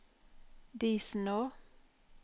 Disenå